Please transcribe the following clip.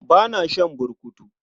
Ba na shan burkutu.